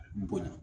N bonya